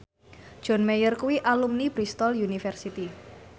John Mayer kuwi alumni Bristol university